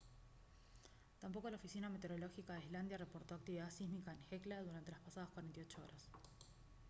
tampoco la oficina meteorológica de islandia reportó actividad sísmica en hekla durante las pasadas 48 horas